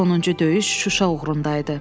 Sonuncu döyüş Şuşa uğrunda idi.